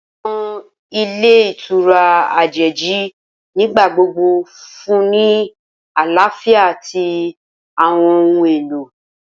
Awọn ilé ìtura ajeji nigbagbogbo nfunni ni alafia ati awọn ohun elo